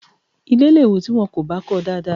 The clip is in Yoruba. Ilé lè wò tí wọn kò bá kọọ dáadáa